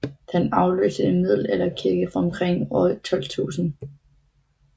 Den afløste en middelalderkirke fra omkring år 1200